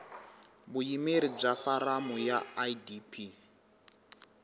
vuyimeri bya foramu ya idp